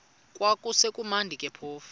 kwakusekumnandi ke phofu